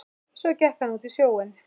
Svo gekk hann út í sjóinn.